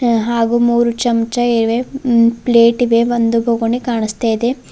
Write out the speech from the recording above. ಹಾಗು ಮೂರು ಚಮಚ ಇವೆ ಉಂ ಪ್ಲೇಟ್ ಇವೆ ಒಂದು ಬುಗುಣಿ ಕಾಣುಸ್ತ ಇದೆ.